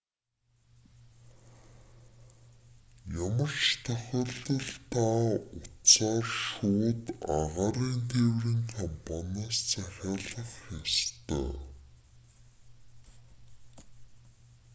ямар ч тохиолдолд та утсаар шууд агаарын тээврийн компаниас захиалах ёстой